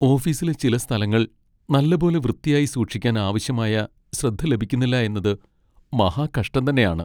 ഓഫീസിലെ ചില സ്ഥലങ്ങൾ നല്ലപോലെ വൃത്തിയായി സൂക്ഷിക്കാൻ ആവശ്യമായ ശ്രദ്ധ ലഭിക്കുന്നില്ല എന്നത് മഹാകഷ്ടം തന്നെയാണ്.